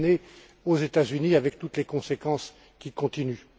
Elle est bien née aux États Unis avec toutes les conséquences qui continuent.